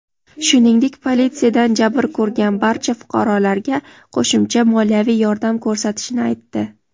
shuningdek politsiyadan jabr ko‘rgan barcha fuqarolarga qo‘shimcha moliyaviy yordam ko‘rsatishini aytdi.